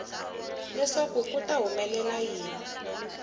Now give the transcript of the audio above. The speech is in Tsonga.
leswaku ku ta humelela yini